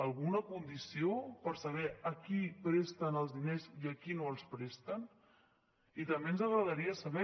alguna condició per saber a qui presten els diners i a qui no els presten i també ens agradaria saber